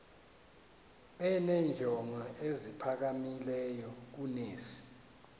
benenjongo eziphakamileyo kunezi